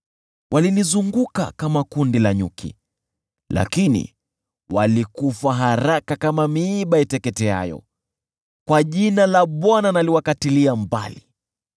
Walinizunguka kama kundi la nyuki, lakini walikufa haraka kama miiba iteketeayo; kwa jina la Bwana naliwakatilia mbali.